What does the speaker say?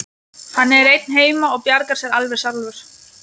Hann er einn heima og bjargar sér alveg sjálfur.